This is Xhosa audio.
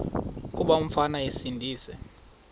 kuba umfana esindise